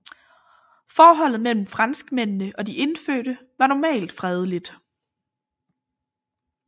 Forholdet mellem franskmændene og de indfødte var normalt fredeligt